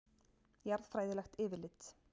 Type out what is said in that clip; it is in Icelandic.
Jarðfræðilegt yfirlit.